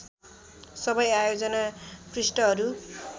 सबै आयोजना पृष्ठहरू